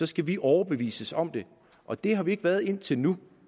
skal vi overbevises om det og det er vi ikke blevet indtil nu